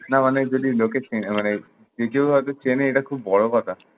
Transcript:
না মানে যদি লোকে চিনে মানে যে কেউ হয়ত চেনে এইটা খুব বড় কথা না।